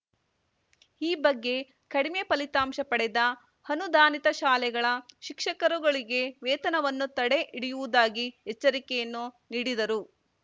ಈ ಬಗ್ಗೆ ಕಡಿಮೆ ಫಲಿತಾಂಶ ಪಡೆದ ಅನುದಾನಿತ ಶಾಲೆಗಳ ಶಿಕ್ಷಕರುಗಳಿಗೆ ವೇತನವನ್ನು ತಡೆ ಹಿಡಿಯುವುದಾಗಿ ಎಚ್ಚರಿಕೆಯನ್ನು ನೀಡಿದರು